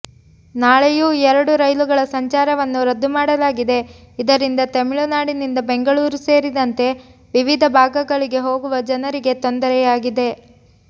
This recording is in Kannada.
ನಾಳೆಯೂ ಎರಡು ರೈಲುಗಳ ಸಂಚಾರವನ್ನು ರದ್ದು ಮಾಡಲಾಗಿದೆ ಇದರಿಂದ ತಮಿಳುನಾಡಿನಿಂದ ಬೆಂಗಳೂರು ಸೇರಿದಂತೆ ವಿವಿಧ ಭಾಗಗಳಿಗೆ ಹೋಗುವ ಜನರಿಗೆ ತೊಂದರೆಯಾಗಿದೆ